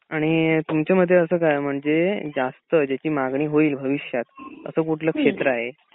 आणि तुमच्या मते असं काय आहे म्हणजे जास्त ज्याची मागणी होईल भविष्यात असं कुठलं क्षेत्र आहे?